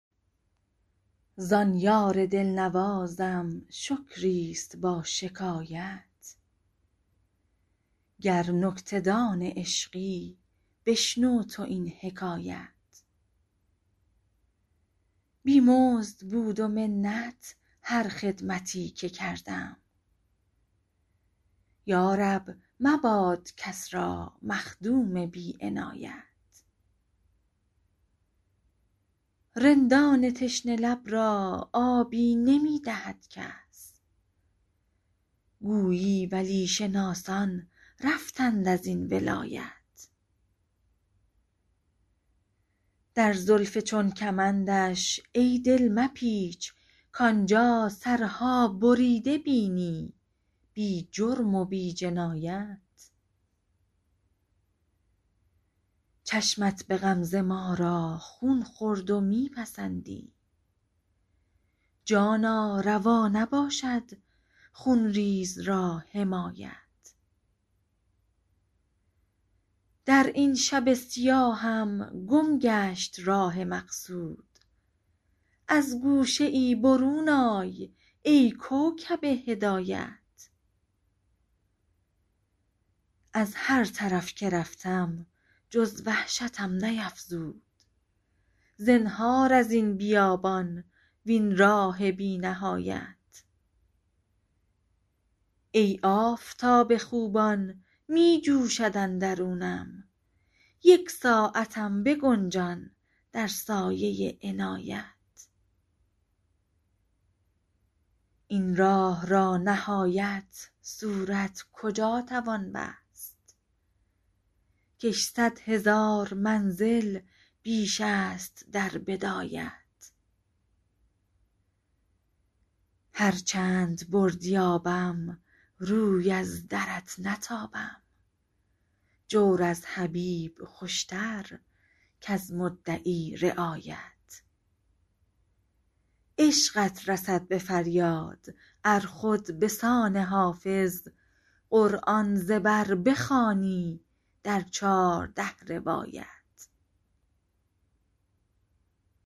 زان یار دل نوازم شکری است با شکایت گر نکته دان عشقی بشنو تو این حکایت بی مزد بود و منت هر خدمتی که کردم یا رب مباد کس را مخدوم بی عنایت رندان تشنه لب را آبی نمی دهد کس گویی ولی شناسان رفتند از این ولایت در زلف چون کمندش ای دل مپیچ کآن جا سرها بریده بینی بی جرم و بی جنایت چشمت به غمزه ما را خون خورد و می پسندی جانا روا نباشد خون ریز را حمایت در این شب سیاهم گم گشت راه مقصود از گوشه ای برون آی ای کوکب هدایت از هر طرف که رفتم جز وحشتم نیفزود زنهار از این بیابان وین راه بی نهایت ای آفتاب خوبان می جوشد اندرونم یک ساعتم بگنجان در سایه عنایت این راه را نهایت صورت کجا توان بست کش صد هزار منزل بیش است در بدایت هر چند بردی آبم روی از درت نتابم جور از حبیب خوش تر کز مدعی رعایت عشقت رسد به فریاد ار خود به سان حافظ قرآن ز بر بخوانی در چارده روایت